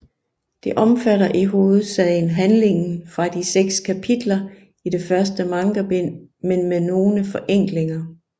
Det omfatter i hovedsagen handlingen fra de seks kapitler i det første mangabind men med nogle forenklinger